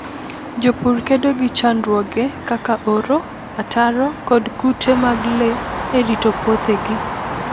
Jopur kedo gi chandruoge kaka oro, ataro, kod kute mag le e rito puothegi.